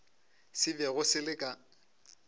se bego se le ka